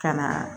Ka na